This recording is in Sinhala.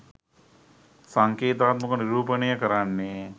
සංකේතාත්මකව නිරූපණය කරන්නේ